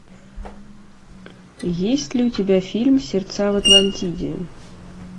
есть ли у тебя фильм сердца в атлантиде